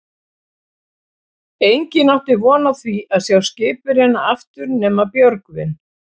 Enginn átti von á því að sjá skipverjana aftur nema Björgvin.